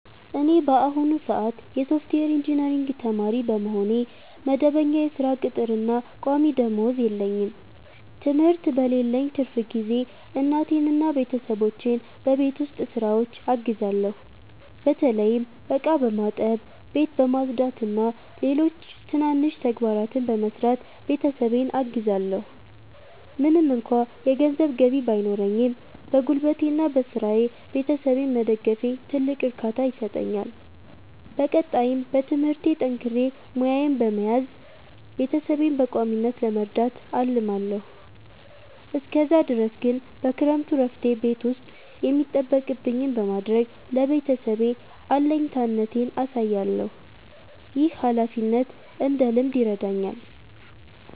እኔ በአሁኑ ሰአት የሶፍትዌር ኢንጂነሪንግ ተማሪ በመሆኔ፣ መደበኛ የሥራ ቅጥርና ቋሚ ደመወዝ የለኝም። ትምህርት በሌለኝ ትርፍ ጊዜ እናቴንና ቤተሰቦቼን በቤት ውስጥ ሥራዎች አግዛለሁ። በተለይም ዕቃ በማጠብ፣ ቤት በማጽዳትና ሌሎች ትናንሽ ተግባራትን በመስራት ቤተሰቤን አግዛለዎ። ምንም እንኳ የገንዘብ ገቢ ባይኖረኝም፣ በጉልበቴና በሥራዬ ቤተሰቤን መደገፌ ትልቅ እርካታ ይሰጠኛል። በቀጣይም በትምህርቴ ጠንክሬ ሙያዬን በመያዝ ቤተሰቤን በቋሚነት ለመርዳት አልማለዎ። እስከዛ ድረስ ግን በክረምቱ እረፍቴ ቤት ውስጥ የሚጠበቅብኝን በማድረግ ለቤተሰቤ አለኝታነቴን አሳያለሁ። ይህ ኃላፊነትን እንድለምድ ይረዳኛል።